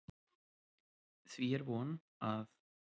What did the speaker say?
Því er von, að